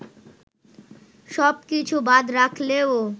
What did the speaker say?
সব কিছু বাদ রাখলেও